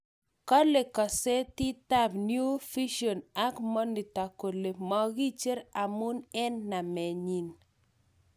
kole kazititap New vision ak Monitor kole Magicher amun en Namenyin.